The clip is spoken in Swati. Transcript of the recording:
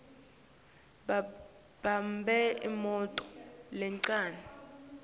babambe imoto lencane